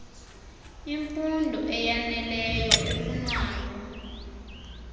imfund eyaneleyo efunwayo